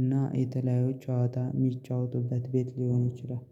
እና የተለያዩ ጨዋታ የሚጫወቱበት ቤት ሊሆን ይችላል